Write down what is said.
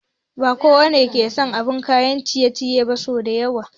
Ba kowa ne yake son abin kayan ciye ciye sau da yawa